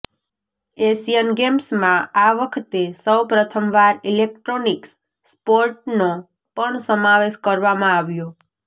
Asian ગેમ્સમાં આ વખતે સૌ પ્રથમવાર ઈલેકટ્રોનીક્સ સ્પોર્ટનો પણ સમાવેશ કરવામાં આવ્યો